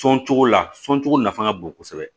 Sɔn cogo la sɔncogo nafa ka bon kosɛbɛ